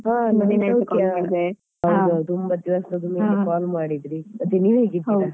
ಹಾ ಹೌದು ತುಂಬ ದಿವಸ ಆದ್ಮೇಲೆ call ಮಾಡಿದ್ರಿ ಮತ್ತೆ ನೀವ್ ಹೇಗಿದ್ದೀರ?